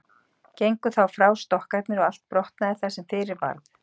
Gengu þá frá stokkarnir og allt brotnaði það sem fyrir varð.